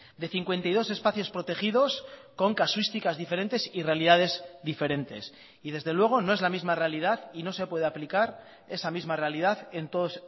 de cincuenta y dos espacios protegidos con casuísticas diferentes y realidades diferentes y desde luego no es la misma realidad y no se puede aplicar esa misma realidad en todos